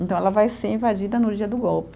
Então ela vai ser invadida no dia do golpe.